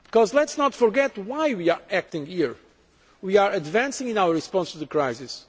Let us not forget why we are acting here we are advancing in our response to the crisis.